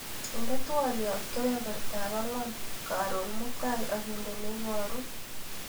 Inde twaliot kebebertap angwan karonmutai akinde nebaru.